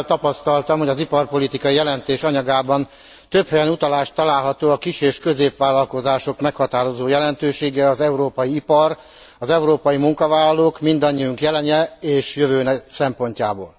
Örömmel tapasztaltam, hogy az iparpolitikai jelentés anyagában több helyen utalás található a kis és középvállalkozások meghatározó jelentőségére az európai ipar, az európai munkavállalók, mindannyiunk jelene és jövője szempontjából.